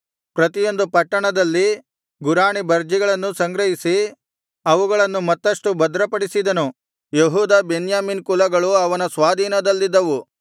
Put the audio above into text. ಪ್ರತಿಯೊಂದು ಪಟ್ಟಣದಲ್ಲಿ ಗುರಾಣಿ ಬರ್ಜಿಗಳನ್ನೂ ಸಂಗ್ರಹಿಸಿ ಅವುಗಳನ್ನು ಮತ್ತಷ್ಟು ಭದ್ರಪಡಿಸಿದನು ಯೆಹೂದ ಬೆನ್ಯಾಮೀನ್ ಕುಲಗಳು ಅವನ ಸ್ವಾಧೀನದಲ್ಲಿದ್ದವು